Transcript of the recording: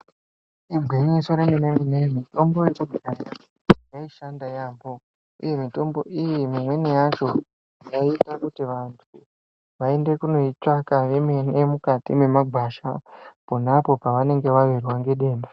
Igwinyiso remene-mene mitombo yechinyakare yaishanda yaampho ,uye mitombo iyi imweni yacho, yaiita kuti vantu vaende kunoitsvaka vemene mukati mwemagwasha pona apo vanenge vawirwa ngedenda.